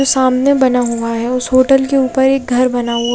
सामने बना हुआ है और उस होटल के ऊपर एक घर बना हुआ--